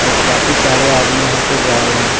और काफी सारे आदमी यहां पे जा रहे हैं।